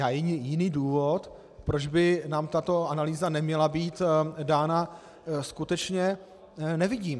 Já jiný důvod, proč by nám tato analýza neměla být dána, skutečně nevidím.